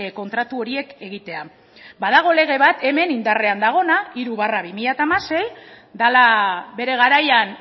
kontratu horiek egitea badago lege bat hemen indarrean dagoena hiru barra bi mila hamasei dela bere garaian